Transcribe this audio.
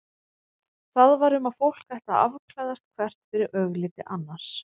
Það var um að fólk ætti að afklæðast hvert fyrir augliti annars.